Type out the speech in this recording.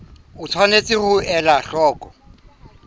o tshwanetse ho ela hloko